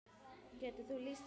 Getur þú lýst þessu nánar?